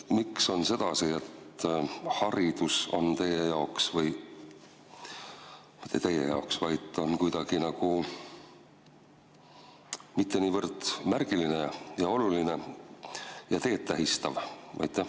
Miks on sedasi, et haridus teie jaoks – või mitte teie jaoks –, vaid üldse ei ole nagu niivõrd märgiline ja oluline ja teed tähistav?